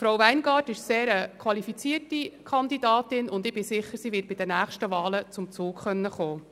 Frau WeingartSchneider ist eine sehr qualifizierte Kandidatin, und ich bin sicher, sie wird bei den nächsten Wahlen zum Zug kommen.